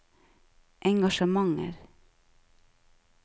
engasjementer